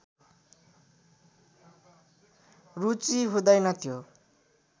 रुचि हुँदैन त्यो